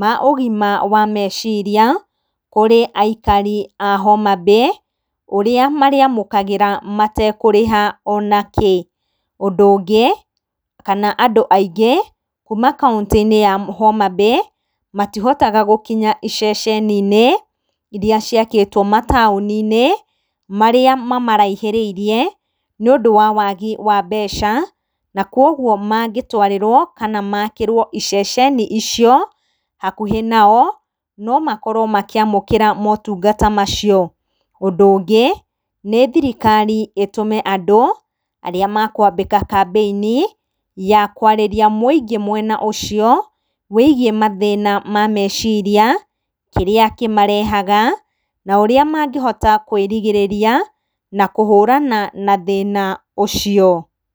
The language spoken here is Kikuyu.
ma ũgima wa meciria, kũrĩ aikari a Homa Bay, ũrĩa marĩamũkagĩra metekũrĩha onakĩ. Ũndũ ũngĩ, kana andũ aingĩ, kuuma kaũntĩ-inĩ ya Homa Bay, matihotaga gũkinya iceceninĩ iria ciakĩtwo mataũninĩ, marĩa mamaraihĩrĩirie, nĩ ũndũ wa wagi wa mbeca, na koguo mangĩtwarirwo kana makĩrwo iceceni icio, hakuhĩ nao, nomakorwo makĩamũkĩra motungata macio. Ũndũ ũngĩ, nĩ thirikari ĩtũme andũ, arĩa mekwambĩka kambĩinĩ ya kwarĩria mũingĩ mwena ũcio , wĩgiĩ thĩna wa meciria, kĩrĩa kĩmarehaga, na ũrĩa mangĩhota kũĩrigĩrĩria, na kũhũrana na thĩna ũcio.